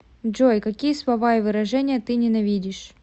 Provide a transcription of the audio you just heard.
джой какие слова и выражения ты ненавидишь